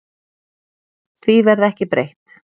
Því verði ekki breytt.